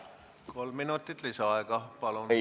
Kolm minutit lisaaega, palun!